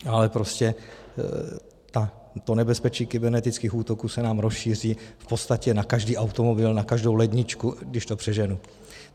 Ale prostě to nebezpečí kybernetických útoků se nám rozšíří v podstatě na každý automobil, na každou ledničku, když to přeženu.